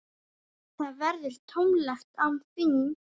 Það verður tómlegt án þín.